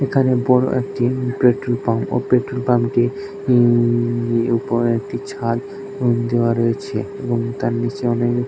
এখানে বড় একটি পেট্রোল পাম্প। ও পেট্রল পাম্পটির উ-ম-ম উপরে একটি ছাদ উ-ম দেওয়া রয়েছে এবং তার নিচে অনেক--